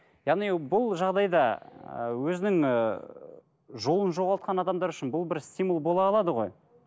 яғни бұл жағдайда ы өзінің ыыы жолын жоғалтқан адамдар үшін бұл бір стимул бола алады ғой